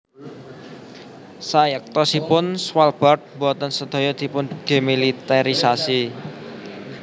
Sayektosipun Svalbard boten sedaya dipundemiliterisasi